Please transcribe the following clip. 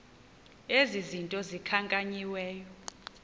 ezi zinto zikhankanyiweyo